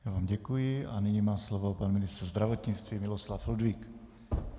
Já vám děkuji a nyní má slovo pan ministr zdravotnictví Miloslav Ludvík.